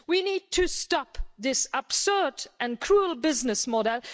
We need to stop this absurd and cruel business model.